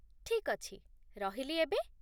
ଠିକ୍ ଅଛି। ରହିଲି ଏବେ !